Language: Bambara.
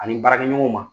Ani baarakɛɲɔgɔnw ma